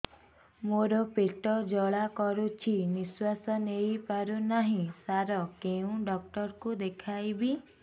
ମୋର ପେଟ ଜ୍ୱାଳା କରୁଛି ନିଶ୍ୱାସ ନେଇ ପାରୁନାହିଁ ସାର କେଉଁ ଡକ୍ଟର କୁ ଦେଖାଇବି